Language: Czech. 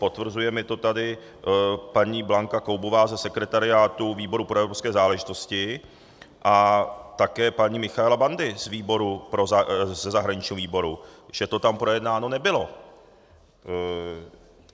Potvrzuje mi to tady paní Blanka Koubová ze sekretariátu výboru pro evropské záležitosti a také paní Michaela Bandi ze zahraničního výboru, že to tam projednáno nebylo.